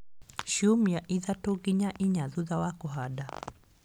Ciumia ithatũ nginya inya thutha wa kũhanda.